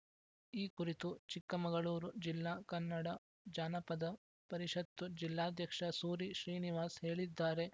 ಈ ಕುರಿತು ಚಿಕ್ಕಮಗಳೂರು ಜಿಲ್ಲಾ ಕನ್ನಡ ಜಾನಪದ ಪರಿಷತ್ತು ಜಿಲ್ಲಾಧ್ಯಕ್ಷ ಸೂರಿ ಶ್ರೀನಿವಾಸ್‌ ಹೇಳಿದ್ದಾರೆ